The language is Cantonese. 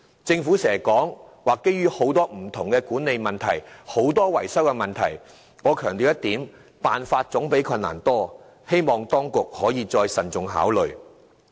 政府經常提到當中涉及多種不同的管理問題及維修問題，但我要強調一點，辦法總比困難多，希望當局可再作慎重考慮。